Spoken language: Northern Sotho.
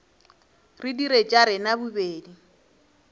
re dire tša rena bobedi